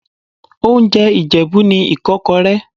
Oúnjẹ Ìjẹ̀bú ni Ìkọ́kọrẹ́.